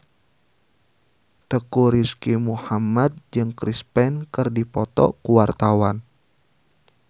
Teuku Rizky Muhammad jeung Chris Pane keur dipoto ku wartawan